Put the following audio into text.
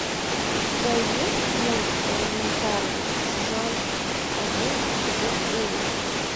у тебя есть мульт элементарно сезон один эпизод девять